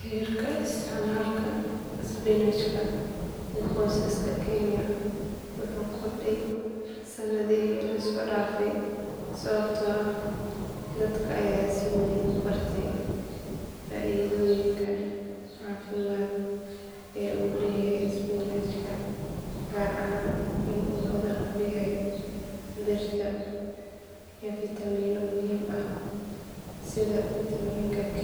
Heerka isticmaalka isbinaajka ee qoysaska kenya wuu kordhay sannadihii la soo dhaafay sababtoo ah dadka ayaa si weyn u bartay faa’iidooyinka caafimaad ee uu leeyahay isbinaajka gaar ahaan in uu hodan ku yahay birta iyo fiitamiino muhiim ah sida fiitamiin k